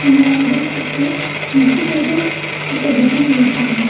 మ్మ్ అరదం చుట్టూ ముగ్గుతోటి ఒక డిజైన్ వేసారు.